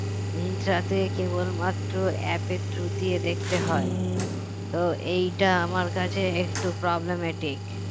মিন্ত্রাতে কেবলমাত্র app এর through দিয়ে দেখতে হয় তো এইটা আমার কাছে একটু problematic